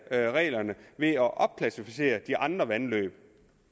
reglerne ved at opklassificere de andre vandløb